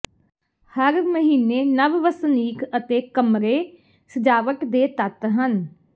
ਹਰ ਮਹੀਨੇ ਨਵ ਵਸਨੀਕ ਅਤੇ ਕਮਰੇ ਸਜਾਵਟ ਦੇ ਤੱਤ ਹਨ